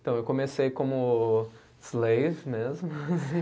Então, eu comecei como slave mesmo.